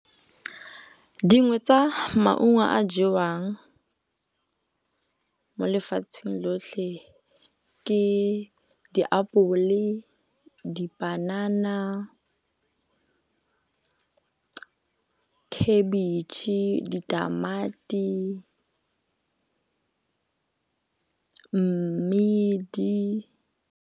Dingwe tsa maungo a jewang mo lefatsheng lotlhe ke ditapole, dipanana khabetšhe, ditamati le mmidi.